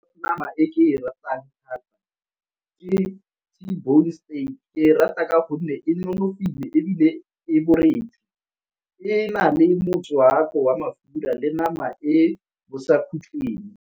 Nama e ke e ratang thata ke T-bone steak ke rata ka gonne e nonofile ebile e , e na le motswako wa mafura le nama e bosakhutlhing.